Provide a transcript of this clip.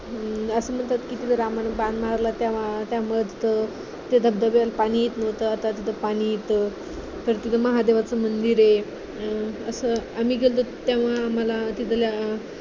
असं म्हणतात रामानं बाण मारला तेव्हा त्या त्या धबधब्याला पाणी येत नव्हतं आता तिथे पाणी येतं महादेवाचं मंदिर आहे आम्ही गेलेलो तेव्हा आम्हाला तिथल्या